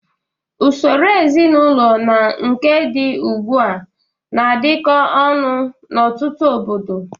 Usoro ezinaụlọ na nke dị ugbu a na-adịkọ ọnụ n'ọtụtụ obodo.